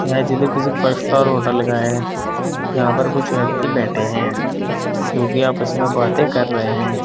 यह चित्र किसी फाइव स्टार होटल का है जहां पर कुछ व्यक्ति बैठे हैं जोकि आपस में बातें कर रहे हैं।